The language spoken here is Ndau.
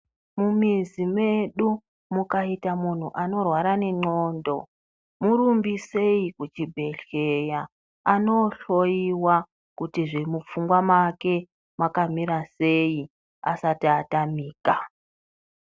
Mumizi medu mukaita munhu anorwara nendxondo murumbisei kuchibhehleya anoohloyiwa kuti zve mupfungwa make makamira sei asati atamika.